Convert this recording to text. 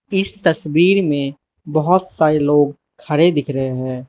इस तस्वीर में बहोत सारे लोग खड़े दिख रहे हैं।